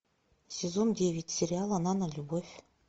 сезон девять сериала нанолюбовь